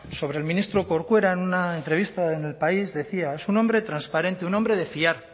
sobre el ministro corcuera en una entrevista en el país decía es un hombre transparente un hombre de fiar